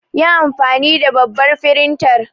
Yi anfani da babbar firintar.